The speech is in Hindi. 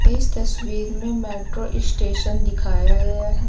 इस तस्वीर मे मेट्रो स्टेशन दिखाया गया है।